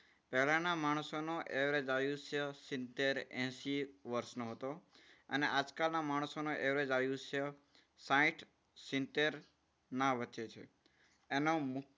પહેલાના માણસોનું average આયુષ્ય સિત્તેર એશિ વર્ષનું હતું. અને આજકાલના માણસોનું average આયુષ્ય સાઈઠ સિત્તેર ના વચ્ચે છે. એનો